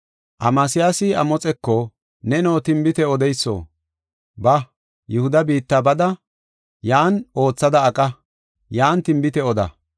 Amasiyaasi Amoxeko, “Neno tinbite odeyso, ba; Yihuda biitta bada, yan oothada aqa; yan tinbite oda.